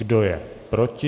Kdo je proti?